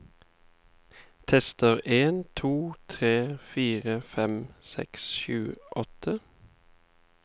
Tester en to tre fire fem seks sju åtte